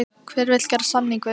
Hver vill gera samning við mig?